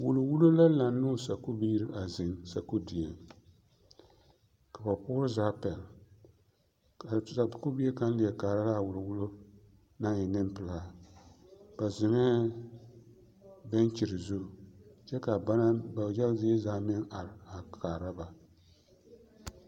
Wulwullo la laŋ ne o sakubiiri a zeŋ sakudieŋ ka ba poore zaa pɛlle ka a teacher sakubie kaŋ leɛ kaara la a wulwullo naŋ e nempelaa ba zeŋɛɛ bɛnkyere zu kyɛ ka ba naŋ ba yaga zaa zie are a kaara ba.